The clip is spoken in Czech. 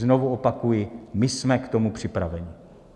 Znovu opakuji, my jsme k tomu připraveni.